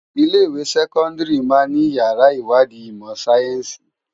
Ilé iwé sèkòndári má ni iyàrá iwádi imò sáyènsí